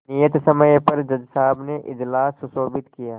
नियत समय पर जज साहब ने इजलास सुशोभित किया